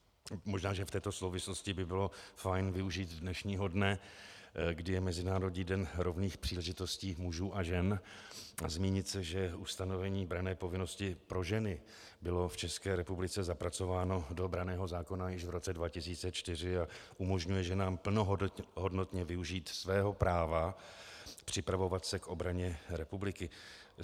Možná že v této souvislosti by bylo fajn využít dnešního dne, kdy je Mezinárodní den rovných příležitostí mužů a žen, zmínit se, že ustanovení branné povinnosti pro ženy bylo v České republice zapracováno do branného zákona již v roce 2004 a umožňuje ženám plnohodnotně využít svého práva připravovat se k obraně republiky.